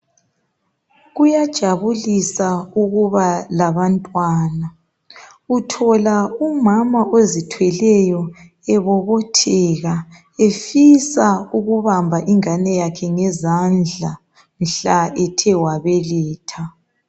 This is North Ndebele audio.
Kuyajabulisa ukuba labantwana uthola umama ozithweleyo ebobotheka efisa ukubamba ingane yakhe ngezandla mhla ethe wabeletha.